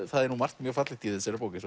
það er margt mjög fallegt í þessari bók ég